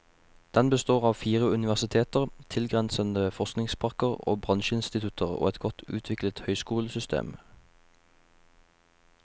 Den består av fire universiteter, tilgrensende forskningsparker og bransjeinstitutter, og et godt utviklet høyskolesystem.